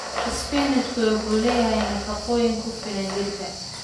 Isbinaashka wuxuu leeyahay nafaqooyin ku filan jidhka.